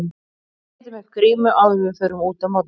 Við setjum upp grímu áður en við förum út á morgnana.